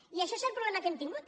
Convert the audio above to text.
i això és el problema que hem tingut